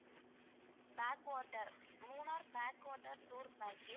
back water Munnar back water tour package